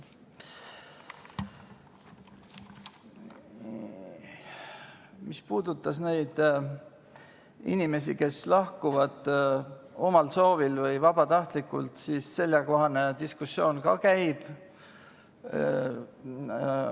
Mis puudutas neid inimesi, kes lahkuvad omal soovil või vabatahtlikult, siis sellekohane diskussioon ka käib.